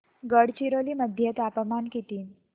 गडचिरोली मध्ये तापमान किती